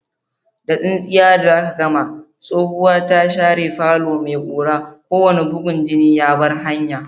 Da tsintsiya da aka gama, tsohuwa ta share falon mai ƙura, kowane bugun jini ya bar hanya.